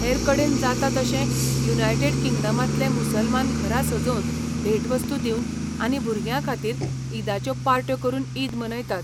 हेरकडेन जाता तशें, युनायटेड किंगडमांतले मुसलमान घरां सजोवन, भेटवस्तू दिवन आनी भुरग्यांखातीर ईदाच्यो पार्ट्यो करून ईद मनयतात.